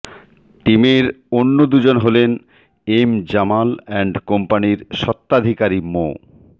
টিমের অন্য দুজন হলেন এম জামাল অ্যান্ড কোম্পানির স্বত্বাধিকারী মো